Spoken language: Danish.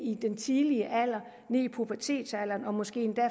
i en tidlig alder nede i pubertetsalderen og måske endda